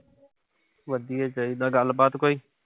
ਵਧੀਆ ਚਾਹੀਦਾ। ਗੱਲਬਾਤ ਕੋਈ?